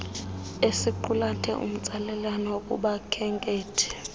esiqulethe umtsalane kubakhenkethi